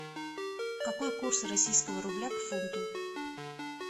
какой курс российского рубля к фунту